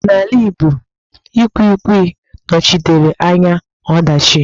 N'ala ịgbo, Ikwikwi nọchitere anya ọdachi.